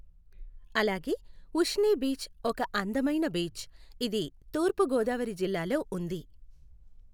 అలాగే ఉశ్ని బీచ్ ఒక అందమైన బీచ్. ఇది తూర్పు గోదావరి జిల్లాలో ఉంది.